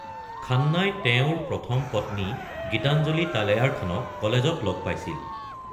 খান্নাই তেওঁৰ প্ৰথম পত্নী গীতাঞ্জলি তালেয়াৰখানক কলেজত লগ পাইছিল।